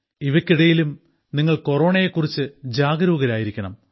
ഇവക്കിടയിലും നിങ്ങൾ കൊറോണയെ കുറിച്ച് ജാഗരൂകരായിരിക്കണം